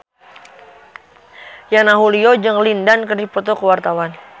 Yana Julio jeung Lin Dan keur dipoto ku wartawan